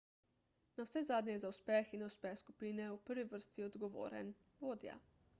navsezadnje je za uspeh in neuspeh skupine v prvi vrsti odgovoren vodja